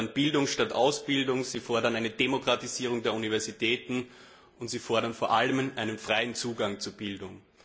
Sie fordern Bildung statt Ausbildung, sie fordern eine Demokratisierung der Universitäten, und sie fordern vor allem einen freien Zugang zur Bildung.